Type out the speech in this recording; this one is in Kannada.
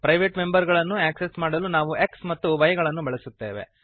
ಪ್ರೈವೇಟ್ ಮೆಂಬರ್ ಗಳನ್ನು ಆಕ್ಸೆಸ್ ಮಾಡಲು ನಾವು x ಮತ್ತು y ಗಳನ್ನು ಬಳಸುತ್ತೇವೆ